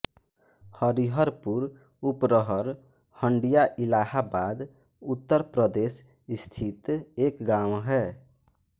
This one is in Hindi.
हरिहरपुर उपरहर हंडिया इलाहाबाद उत्तर प्रदेश स्थित एक गाँव है